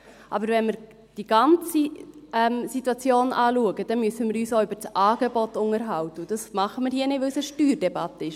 Aber wenn wir die ganze Situation anschauen, dann müssen wir uns auch über das Angebot unterhalten, und das tun wir hier nicht, weil es eine Steuerdebatte ist.